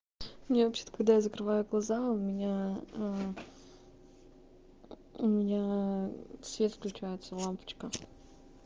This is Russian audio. мне вообще-то когда я закрываю глаза у меня ээ у меня ээ свет включается лампочка